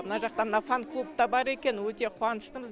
мына жақта мына фан клуб та бар екен өте қуаныштымыз